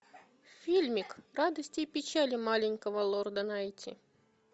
фильмик радости и печали маленького лорда найти